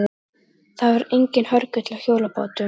Það var enginn hörgull á hjólabátum.